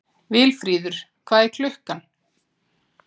Vilfríður, hvað er klukkan?